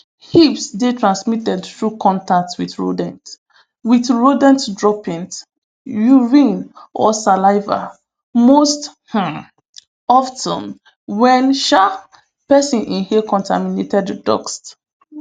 hips dey transmitted through contact wit rodent wit rodent droppings urine or saliva most um of ten wen um pesin inhale contaminated duskt